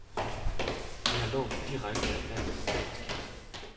De har lånt direkte af landets statskasse.